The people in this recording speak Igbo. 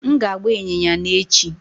M ga-agba ịnyịnya n'echi